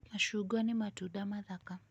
Macungwa nĩ matunda mathaka.